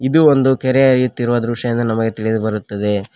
ಇದು ಒಂದು ಕೆರೆ ಅಗೆಯುತ್ತಿರುವ ದೃಶ್ಯ ಎಂದು ನಮಗೆ ತಿಳಿದು ಬರುತ್ತದೆ.